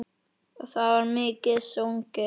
Og það var mikið sungið.